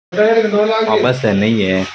बा बस है नई है।